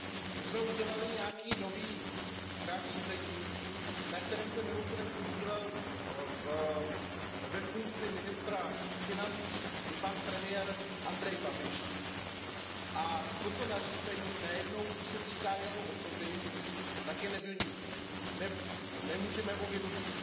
My jsme udělali nějaké nové nařízení, na kterém se mimochodem podílel ve funkci ministra financí i pan premiér Andrej Babiš, a toto nařízení, najednou když se týká jeho osoby, tak jej nemůžeme vynutit.